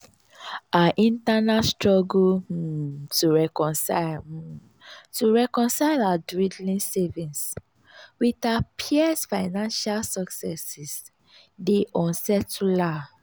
her internal struggle um to reconcile um to reconcile her dwindling savings with her peers' financial successes dey unsettle her.